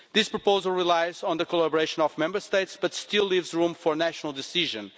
This proposal relies on the collaboration of Member States but still leaves room for national decisions.